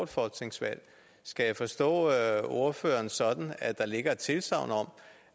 folketingsvalg skal jeg forstå ordføreren sådan at der ligger et tilsagn om